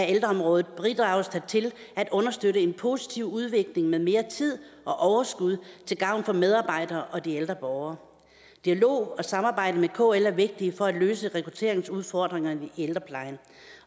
ældreområdet bidrages der til at understøtte en positiv udvikling med mere tid og overskud til gavn for medarbejderne og de ældre borgere dialog og samarbejde med kl er vigtigt for at løse rekrutteringsudfordringer i ældreplejen